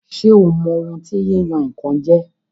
Ṣé o mọ ohun tí yíyan-nǹkan jẹ́?